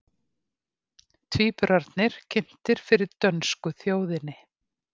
Tvíburarnir kynntir fyrir dönsku þjóðinni